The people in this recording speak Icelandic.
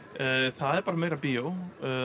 það er bara meira bíó